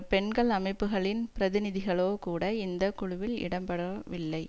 பெண்கள் அமைப்புகளின் பிரதிநிதிகளோ கூட இந்த குழுவில் இடம் பெறவில்லை